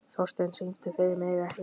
Þórsteina, syngdu fyrir mig „Ekki bíl“.